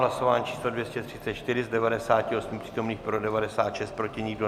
Hlasování číslo 234, z 98 přítomných pro 96, proti nikdo.